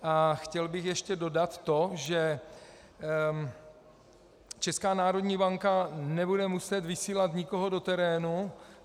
A chtěl bych ještě dodat to, že Česká národní banka nebude muset vysílat nikoho do terénu.